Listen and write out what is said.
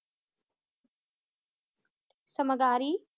ਸਮਗਾਰੀ